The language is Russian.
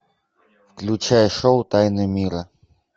включай шоу тайны мира